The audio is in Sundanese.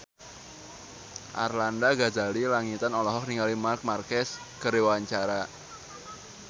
Arlanda Ghazali Langitan olohok ningali Marc Marquez keur diwawancara